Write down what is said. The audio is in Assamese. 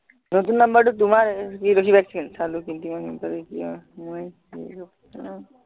নতুন number টো তোমাৰ